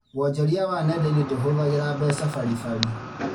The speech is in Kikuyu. Wonjoria wa nenda-inĩ ndũhũthagĩra mbeca baribari